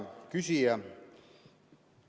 Hea küsija!